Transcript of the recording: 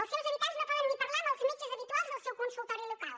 els seus habitants no poden ni parlar amb els metges habituals del seu consultori local